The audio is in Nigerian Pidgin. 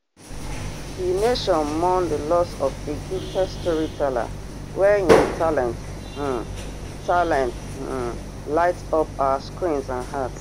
di nation mourn di loss of a gifted storyteller wey im talent um talent um light up our screens and hearts